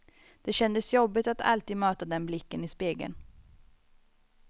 Det kändes jobbigt att alltid möta den blicken i spegeln.